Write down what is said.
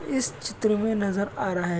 इस चित्र मे नजर आ रहा है।